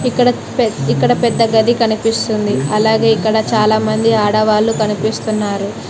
ఇక్కడ పెద్ ఇక్కడ పెద్ద గది కనిపిస్తుంది అలాగే ఇక్కడ చాలామంది ఆడవాళ్లు కనిపిస్తున్నారు.